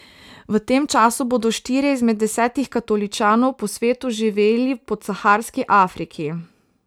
V tem času bodo štirje izmed desetih katoličanov po svetu živeli v podsaharski Afriki.